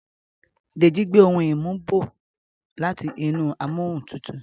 Deji gbé òún imu bó láti inú Amóhuntutù